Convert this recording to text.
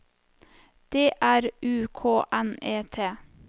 D R U K N E T